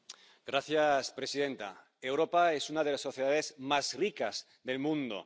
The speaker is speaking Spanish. Señora presidenta, Europa es una de las sociedades más ricas del mundo